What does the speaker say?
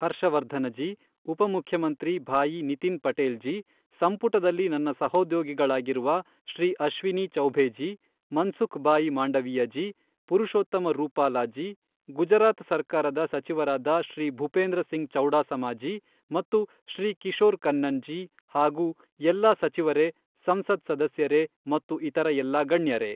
ಹರ್ಷವರ್ಧನ ಜೀ, ಉಪಮುಖ್ಯಮಂತ್ರಿ ಭಾಯಿ ನಿತಿನ್ ಪಟೇಲ್ ಜೀ, ಸಂಪುಟದಲ್ಲಿ ನನ್ನ ಸಹೋದ್ಯೋಗಿಗಳಾಗಿರುವ ಶ್ರೀ ಅಶ್ವಿನೀ ಚೌಭೇ ಜೀ, ಮನ್ಸುಖ್ ಭಾಯಿ ಮಾಂಡವೀಯ ಜೀ, ಪುರಷೋತ್ತಮ ರೂಪಾಲಾ ಜೀ, ಗುಜರಾತ್ ಸರಕಾರದ ಸಚಿವರಾದ ಶ್ರೀ ಭುಪೇಂದ್ರ ಸಿಂಗ್ ಚೌಡಾಸಮ ಜೀ ಮತ್ತು ಶ್ರೀ ಕಿಶೋರ್ ಕನ್ನನ್ ಜೀ, ಹಾಗು ಎಲ್ಲಾ ಸಚಿವರೇ, ಸಂಸತ್ ಸದಸ್ಯರೇ ಮತ್ತು ಇತರ ಎಲ್ಲಾ ಗಣ್ಯರೇ.